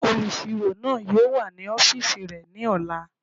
Olùsirò náà yóò wà ní ọ́fìsì rẹ̀ ní ọ̀la